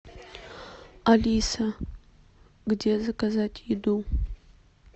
алиса где заказать еду